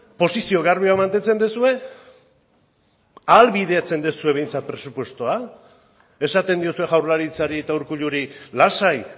posizio garbia mantentzen duzue ahalbideratzen duzue behintzat presupuestoa esaten diozue jaurlaritzari eta urkulluri lasai